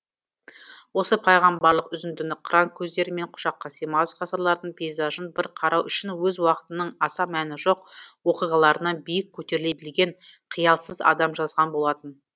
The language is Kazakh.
осы пайғамбарлық үзіндіні қыран көздерімен құшаққа сыймас ғасырлардың пейзажын бір қарау үшін өз уақытының аса мәні жоқ оқиғаларынан биік көтеріле білген қиялсыз адам жазған болатын